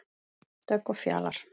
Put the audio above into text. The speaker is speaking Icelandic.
Dögg og Fjalar.